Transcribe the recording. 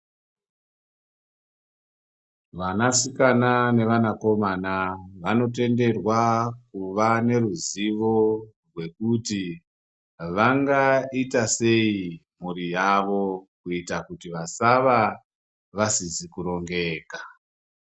Vanasikana nevanakomana vanotenderwa kuvaneruzivo rwekuti vangaita sei mhuri yavo kuita kuti vasava vasizi kurongeka.